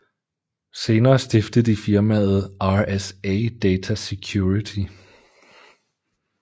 Senere stiftede de firmaet RSA Data Security